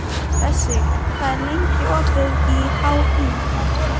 Bessi, hvað er lengi opið í HÍ?